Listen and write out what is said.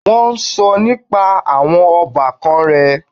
Wọ́n sọ nípa àwọn ọbàkan rẹ̀.